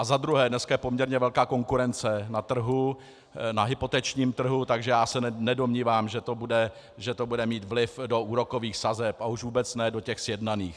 A za druhé, dneska je poměrně velká konkurence na trhu, na hypotečním trhu, takže já se nedomnívám, že to bude mít vliv do úrokových sazeb, a už vůbec ne do těch sjednaných.